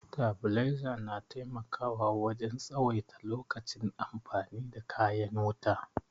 Tabiliza na taimakawa wajen tsawaita lokacin amfani da kayan wuta